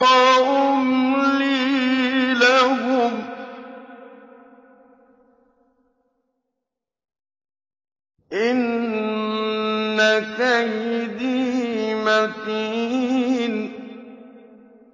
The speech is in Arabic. وَأُمْلِي لَهُمْ ۚ إِنَّ كَيْدِي مَتِينٌ